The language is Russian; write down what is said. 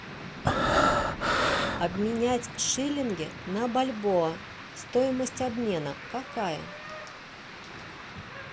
обменять шиллинги на бальбоа стоимость обмена какая